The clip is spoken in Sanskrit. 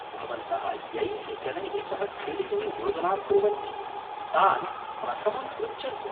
भवन्तः यैः जनैः सह क्रीडितुं योजनां कुर्वन्ति तान् प्रथमं पृच्छन्तु।